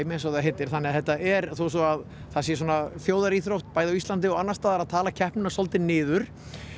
eins og það heitir þannig að þetta er þó svo að það sé svona þjóðaríþrótt bæði á Íslandi og annars staðar að tala keppnina svolítið niður